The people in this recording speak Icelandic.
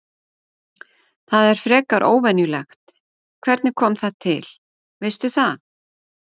Það er frekar óvenjulegt, hvernig kom það til, veistu það?